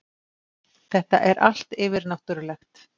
Þetta er allt yfirnáttúrulegt.